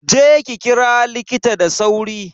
Je ki kira likita da sauri.